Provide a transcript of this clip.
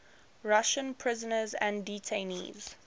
russian prisoners and detainees